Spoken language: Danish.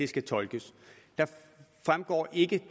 skal tolkes der fremgår ikke